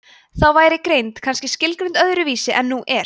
þá væri greind kannski skilgreind öðru vísi en nú er